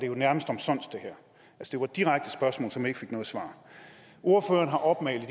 jo nærmest omsonst det var direkte spørgsmål som ikke fik noget svar ordføreren har opmalet